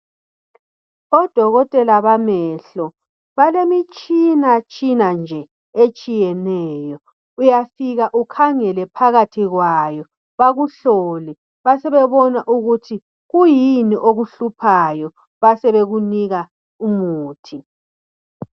Odokotela bamehlo balemitshina tshina nje etshiyeneyo uyafika ukhangele phakathi kwayo bakuhlole basebebona ukuthi kuyini okuhluphayo basebekunika umuthi.